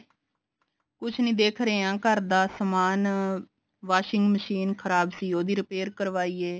ਕੁੱਛ ਨੀ ਦੇਖ ਰਹੇ ਹਾਂ ਘਰ ਦਾ ਸਮਾਨ washing machine ਖ਼ਰਾਬ ਸੀ ਉਹਦੀ repair ਕਰਵਾਈ ਐ